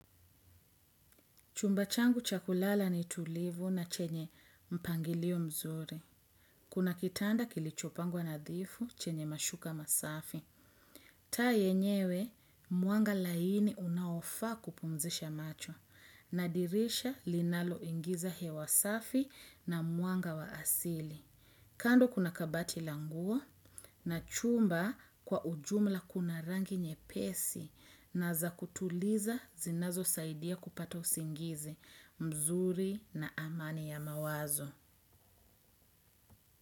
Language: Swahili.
Chumba changu cha kulala ni tulivu na chenye mpangilio mzuri. Kuna kitanda kilichopangwa nadhifu chenye mashuka masafi. Taa yenyewe, mwanga laini unaofaa kupumzisha macho. Na dirisha linalo ingiza hewa safi na mwanga wa asili. Kando kuna kabati la nguo na chumba kwa ujumla kuna rangi nyepesi na za kutuliza zinazo saidia kupata usingizi. Mzuri na amani ya mawazo.